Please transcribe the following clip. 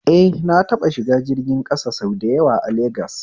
Eh, na taɓa shiga jirgin ƙasa sau da yawa a legas